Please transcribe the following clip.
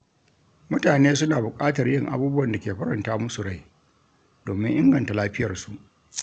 Mutane suna buƙatar yin abubuwan da ke faranta musu rai domin inganta lafiyarsu.